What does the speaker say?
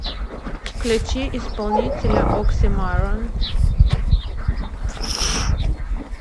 включи исполнителя оксимайрон